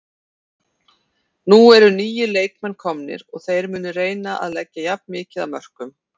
Nú eru nýir leikmenn komnir og þeir munu reyna að leggja jafn mikið af mörkum.